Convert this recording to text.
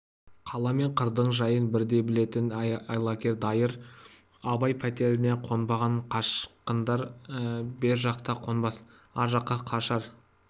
қала мен қырдың жайын бірдей білетін айлакер дайыр абай пәтеріне қонбаған қашқындар бер жақта қонбас ар жаққа қашар